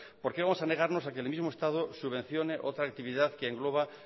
por qué vamos a negarnos que el mismo estado subvencione otra actividad que engloba